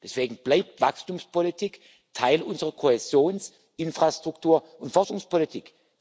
Deswegen bleibt Wachstumspolitik Teil unserer Kohäsions Infrastruktur und Forschungspolitik.